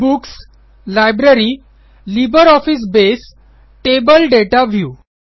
books - library - LibreOffice Base table data view